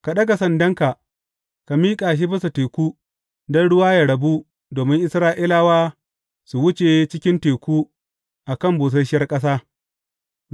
Ka ɗaga sandanka, ka miƙa shi bisa teku don ruwa yă rabu domin Isra’ilawa su wuce cikin teku a kan busasshiyar ƙasa.